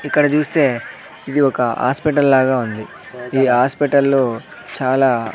ఇక్కడ జూస్తే ఇది ఒక ఆస్పిటల్ లాగా ఉంది ఈ ఆస్పిటల్లో చాలా--